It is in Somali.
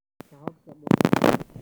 ka habka qudhunka.